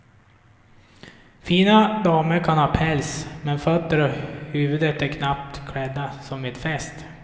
Fina damer kan ha päls men fötter och huvud är knappt klädda, som vid fest.